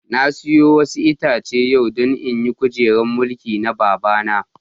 Na siya wasu Itace yau don in yi kujeran mulkin na babana.